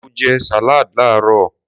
Mo jẹ salad laarọ.